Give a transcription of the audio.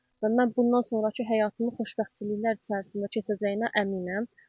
Mən bundan sonrakı həyatımı xoşbəxtçiliklər içərisində keçəcəyinə əminəm.